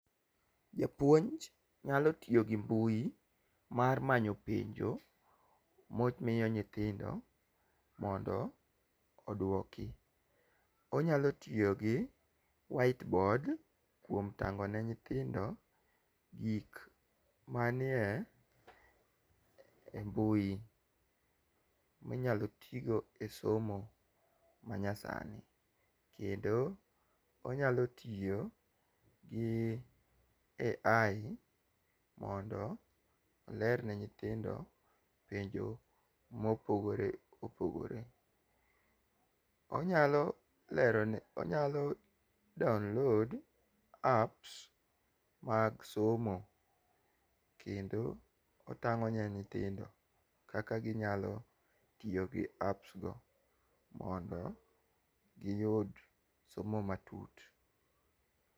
Japuonj nyalo tiyo gi mbui mar manyo penjo momiyo nyithindo mondo oduoki. Onyalo tiyo gi white board kuom tang'o ne nyithindo gik manie mbui minyalo tigo e somo manya sani kendo onyalo tiyo gi AI mondo olerne nyithindo penjo mopogore opogore. Onyalo lero ne onyalo download apps mag somo kendo otang'o ne nyithindo kaka ginyalo tiyo gi apps go mondo giyud somo matut.